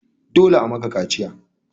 Dole a maka kaciya!